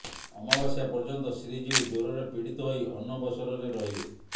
ଅମାବାସ୍ୟା ପର୍ଯ୍ୟନ୍ତ ଶ୍ରୀଜିଉ ଜ୍ୱରରେ ପୀଡିତ ହୋଇ ଅନବସରରେ ରହିବେ